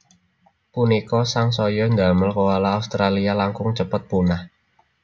Punika sangsaya ndamel koala Australia langkung cepet punah